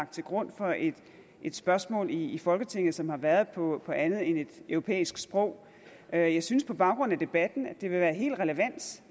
til grund for et spørgsmål i folketinget og som har været på andet end et europæisk sprog jeg synes på baggrund af debatten at det vil være helt relevant